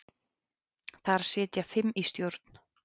Þar sitja fimm í stjórn.